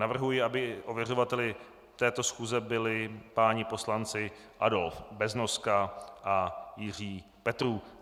Navrhuji, aby ověřovateli této schůze byli páni poslanci Adolf Beznoska a Jiří Petrů.